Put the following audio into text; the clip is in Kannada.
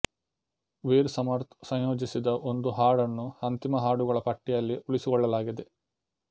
ವೀರ್ ಸಮರ್ಥ್ ಸಂಯೋಜಿಸಿದ ಒಂದು ಹಾಡನ್ನು ಅಂತಿಮ ಹಾಡುಗಳ ಪಟ್ಟಿಯಲ್ಲಿ ಉಳಿಸಿಕೊಳ್ಳಲಾಗಿದೆ